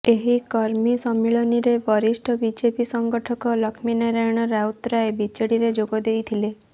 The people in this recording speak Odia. ଏହି କର୍ମୀ ସମ୍ମିଳନୀରେ ବରିଷ୍ଠ ବିଜେପି ସଂଗଠକ ଲକ୍ଷ୍ମୀନାରାୟଣ ରାଉତରାୟ ବିଜେଡ଼ିରେ ଯୋଗଦେଇଥିଲେ